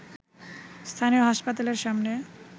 স্থানীয় হাসপাতালের সামনে